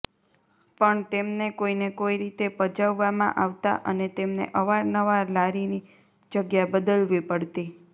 પણ તેમને કોઈને કોઈ રીતે પજવવામાં આવતા અને તેમને અવારનવાર લારીની જગ્યા બદલવી પડતી